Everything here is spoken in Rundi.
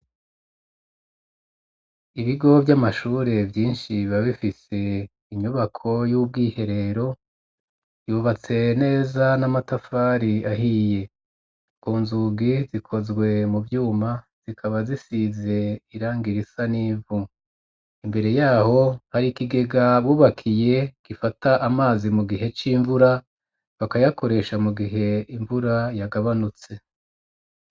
ibigo vy'amashuri vyinshi biba bifise inyubako y'ubwiherero yubatse neza n'amatafari ahiye, ku nzugi zikozwe mu vyuma zikaba zisize irangi risa nivu, imbere yaho hari kigega bubakiye gifata amazi mu gihe c'imvura bakayakoresha mu gihe imvura yagabanutse.